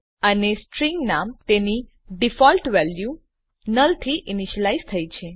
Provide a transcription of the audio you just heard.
અને સ્ટ્રીંગ નામ તેની ડીફોલ્ટ વેલ્યુ નુલ થી ઈનીશ્યલાઈઝ થઇ છે